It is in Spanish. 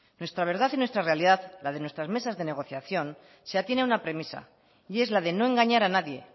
nuestras verdad y nuestra realidad la de nuestras de mesas de negociación se atiene a una premisa y es la de no engañar a nadie